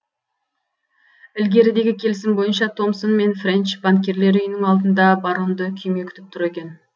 ілгерідегі келісім бойынша томсон мен френч банкирлер үйінің алдында баронды күйме күтіп тұр екен